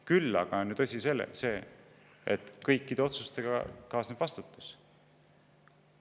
Küll aga on tõsi see, et kõikide otsustega kaasneb vastutus.